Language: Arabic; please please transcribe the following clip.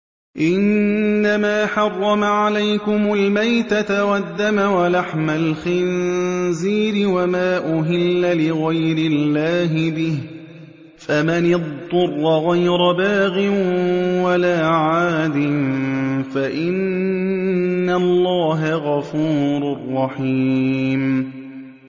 إِنَّمَا حَرَّمَ عَلَيْكُمُ الْمَيْتَةَ وَالدَّمَ وَلَحْمَ الْخِنزِيرِ وَمَا أُهِلَّ لِغَيْرِ اللَّهِ بِهِ ۖ فَمَنِ اضْطُرَّ غَيْرَ بَاغٍ وَلَا عَادٍ فَإِنَّ اللَّهَ غَفُورٌ رَّحِيمٌ